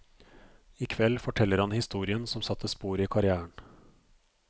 I kveld forteller han historien som satte spor i karrièren.